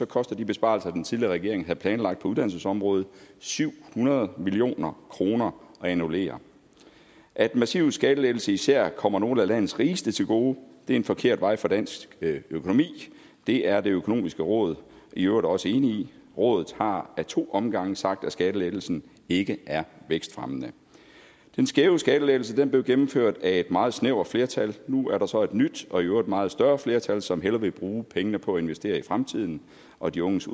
koster de besparelser den tidligere regering havde planlagt på uddannelsesområdet syv hundrede million kroner at annullere at massive skattelettelser især kommer nogle af landets rigeste til gode er en forkert vej for dansk økonomi det er det økonomiske råd i øvrigt også enig i rådet har ad to omgange sagt at skattelettelsen ikke er vækstfremmende den skæve skattelettelse blev gennemført af et meget snævert flertal nu er der så et nyt og i øvrigt meget større flertal som hellere vil bruge pengene på at investere i fremtiden og de unges